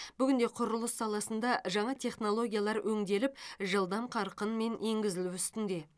бүгінде құрылыс саласында жаңа технологиялар өңделіп жылдам қарқынмен енгізілу үстінде